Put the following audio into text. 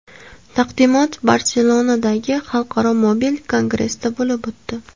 Taqdimot Barselonadagi Xalqaro mobil kongressda bo‘lib o‘tdi.